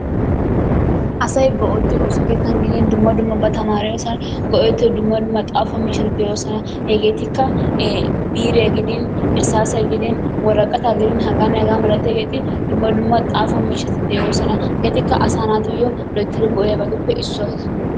Asay ba osso kettan gidin dumma dumma ba tariyosann giddin go'ettiyoo dumma dumma xafoo mishaati de'eosonna hegettikka biriyaa giidin irssasiyaa gidin worqaattaa giddin heganne hegaa malatiyaabatta hegettikka dumma dumma asaa nattaa go'iyaabatuppe issuwaa.